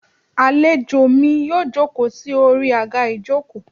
Alèjọ mí yóò jokọ́ sí Ori agá ìjokò